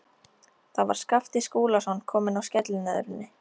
Þar var Skapti Skúlason kominn á skellinöðrunni.